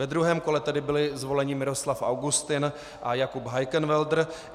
Ve druhém kole tedy byli zvoleni Miroslav Augustin a Jakub Heikenwälder.